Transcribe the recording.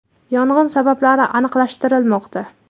Yong‘in sabablari aniqlashtirilmoqda.